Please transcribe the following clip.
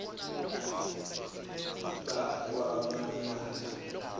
bakwamanaso